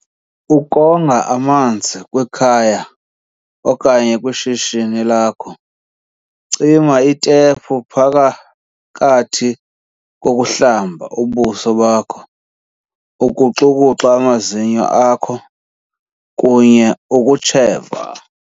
Ukonga amanzi kwikhaya okanye kwishishini lakho Cima itepu phakathi kokuhlamba ubuso bakho, ukuxukuxa amazinyo akho kunye ukutsheva.